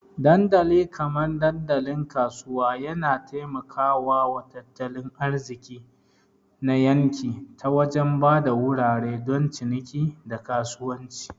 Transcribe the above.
Dandali kamar dandalin kasuwa yana taimaka wa tattalin arziki na yanki ta wajen ba da wurare don ciniki, da kasuwanci.